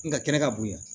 Nga kɛnɛ ka bon yan